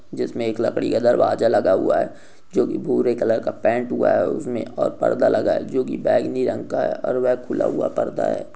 जिसमें एक लकड़ी का दरवाजा लगा हुआ है जो कि भूरे कलर का पैंट हुआ उसमें और पर्दा लगा है जो कि बैगनी रंग का है और वह खुला हुआ पर्दा है।